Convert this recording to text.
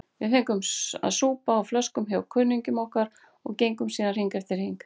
Við fengum að súpa á flöskum hjá kunningjum okkar og gengum síðan hring eftir hring.